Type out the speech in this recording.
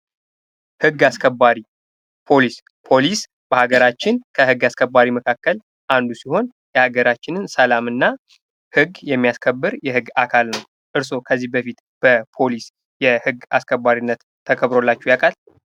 ህግ አስከባሪ ፖሊስ ፖሊስ በሀገራችንን ከግ አስከባሪ መካከል አንዱ ሲሆን የሀገራችንን ሰላም እና ህግ የሚያስከብር የህግ አካል ነው ።እርስዎ ከዚህ በፊትበፖሊስ የግ አስከባሪነት ተከብሮላቸው ያውቃል?